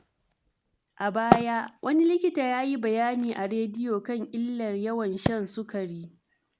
A baya, wani likita ya yi bayani a rediyo kan illar yawan shan sukari.